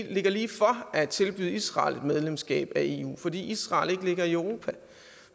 lige for at tilbyde israel et medlemskab af eu fordi israel ikke ligger i europa